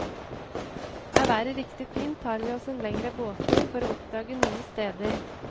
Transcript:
Er været riktig fint tar vi oss en lengre båttur for å oppdage nye steder.